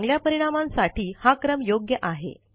चांगल्या परिणामांसाठी हा क्रम योग्य आहे